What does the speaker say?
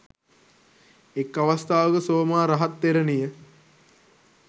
එක් අවස්ථාවක සෝමා රහත් තෙරණිය